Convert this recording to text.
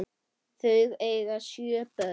Þau eiga sjö börn.